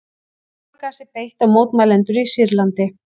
Táragasi beitt á mótmælendur í Sýrlandi